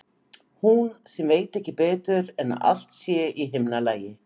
Hún sem veit ekki betur en að allt sé í himnalagi.